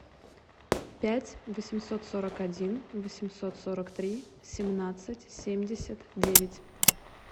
пять восемьсот сорок один восемьсот сорок три семнадцать семьдесят девять